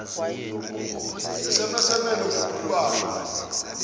sms emelele ngokubanzi